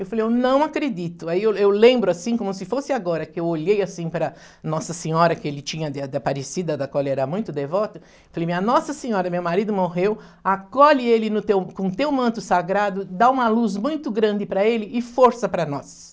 Eu falei, eu não acredito, aí eu eu lembro assim, como se fosse agora, que eu olhei assim para Nossa Senhora que ele tinha, de aparecida da qual ele era muito devoto, falei, minha Nossa Senhora, meu marido morreu, acolhe ele no com teu manto sagrado, dá uma luz muito grande para ele e força para nós.